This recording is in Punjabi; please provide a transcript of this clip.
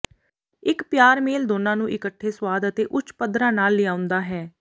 ਇੱਕ ਪਿਆਰ ਮੇਲ ਦੋਨਾਂ ਨੂੰ ਇੱਕਠੇ ਸਵਾਦ ਅਤੇ ਉੱਚ ਪੱਧਰਾਂ ਨਾਲ ਲਿਆਉਂਦਾ ਹੈ